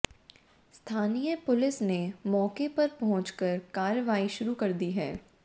स्थानीय पुलिस ने मौके पर पहुंचकर कार्रवाई शुरू कर दी है